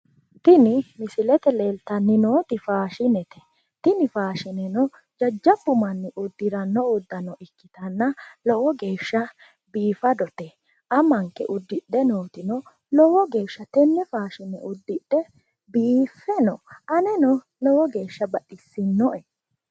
Tini misilete leeltanni nooti faashinete tini faashineno jajjaabbu manni uddiranno udaanno ikkitanna lowo geeshsha biifadote amankeno uddidhe nooti lowo geeshsha tenne faashine uddidhe biiffe no anenno lowo geeshsha baxissinoe